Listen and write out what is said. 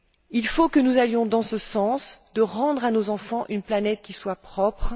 Il faut que nous allions dans ce sens rendre à nos enfants une planète qui soit propre.